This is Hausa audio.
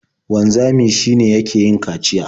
Wanzami shi ne yake yin kaciya.